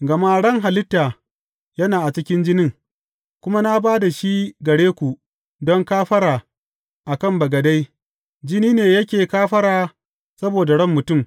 Gama ran halitta yana a cikin jinin, kuma na ba da shi gare ku don kafara a kan bagade, jini ne yake kafara saboda ran mutum.